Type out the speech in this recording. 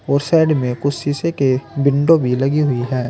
और साइड में कुछ शीशे के विंडो भी लगी हुई है।